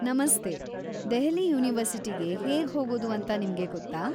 ನಮಸ್ತೇ, ದೆಹಲಿ ಯೂನಿವರ್ಸಿಟಿಗೆ ಹೇಗ್ಹೋಗೋದು ಅಂತ ನಿಮ್ಗೆ ಗೊತ್ತಾ?